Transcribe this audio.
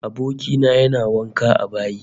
Aboki na yana wanka a bayi